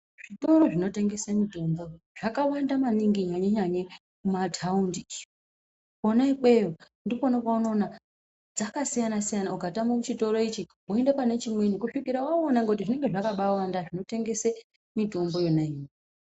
Zvitoro zvinotengesa mitombo, zvakawanda maningi nyanye-nyanye, mumathaundi. Kwona ikweyo, ndikwona kweunoona dzakasiyana-siyana, ukatama muchitoro ichi, woende pane chimweni, kusvikira wauwona ngekuti zvinenge zvakabaawanda zvinotengese mitombo yona iyoyo.